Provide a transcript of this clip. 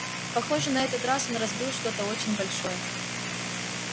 похоже на этот раз он разбил что-то очень большое